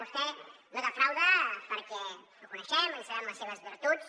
vostè no defrauda perquè el coneixem ens sabem les seves virtuts